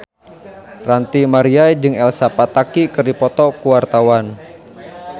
Ranty Maria jeung Elsa Pataky keur dipoto ku wartawan